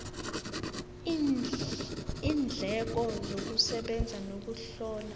iindleko zokusebenza nokuzihlola